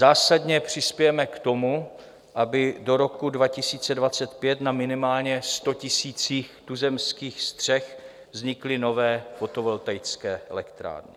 Zásadně přispějeme k tomu, aby do roku 2025 na minimálně 100 000 tuzemských střech vznikly nové fotovoltaické elektrárny.